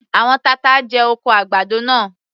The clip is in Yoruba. Àwọn tata jẹ oko àgbàdo náà.